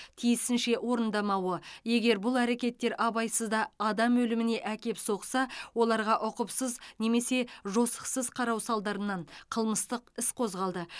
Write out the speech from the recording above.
тиісінше орындамауы егер бұл әрекеттер абайсызда адам өліміне әкеп соқса оларға ұқыпсыз немесе жосықсыз қарау салдарынан қылмыстық іс қозғалды